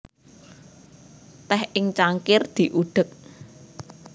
Teh ing cangkir diudek